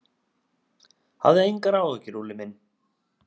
Hafðu engar áhyggjur, Úlli minn.